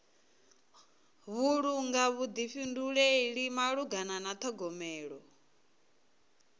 vhulunga vhuḓifhinduleli malugana na ṱhogomelo